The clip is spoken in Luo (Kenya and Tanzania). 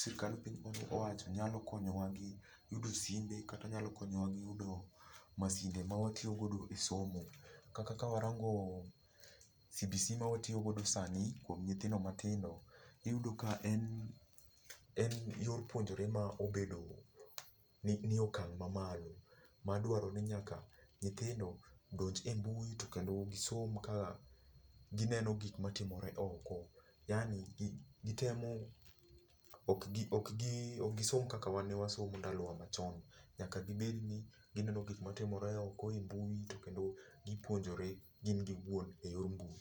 sirkand piny owacho nyalo konyowa gi yudo simbe, nyalo konyowa gi yudo masinde ma watiyogodo e somo. Kata ka warango CBC ma watiyogodo sani kuom nyithindo matindo, iyudo ka en yor puonjruok ma obedo nie okang' ma malo madwaro ni nyaka nyithindo odonj e mbui kendo gisom ka gineno gik matimore oko. Yani gitemo , ok gisom kaka wan ne wasomo ndalo wa machon. Nyaka gibed ni gineno gik matimore oko e mbui to kendo gipuonjore gin giwuon eyor mbui.